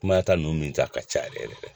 Kumaya ta ninnu min ten a ka ca yɛrɛ yɛrɛ yɛrɛ yɛrɛ